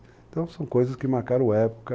Então, são coisas que marcaram época.